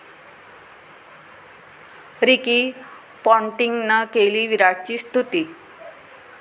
Ricky पाँटिंगनं केली विराटची स्तुती